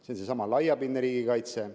See on seesama laiapindne riigikaitse.